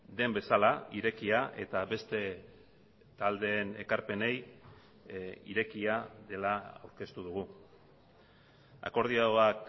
den bezala irekia eta beste taldeen ekarpenei irekia dela aurkeztu dugu akordioak